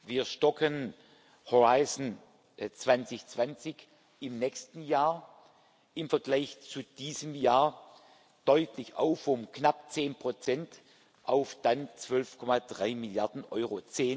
Wir stocken Horizont 2020 im nächsten Jahr im Vergleich zu diesem Jahr deutlich auf, um knapp zehn Prozent auf dann 12,3 Milliarden Euro.